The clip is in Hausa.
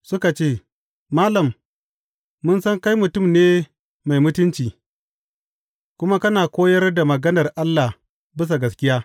Suka ce, Malam, mun san kai mutum ne mai mutunci, kuma kana koyar da maganar Allah bisa gaskiya.